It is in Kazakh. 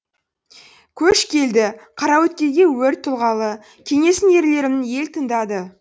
көш келді қараөткелге өр тұлғалы кеңесін ерлерім ел тыңдады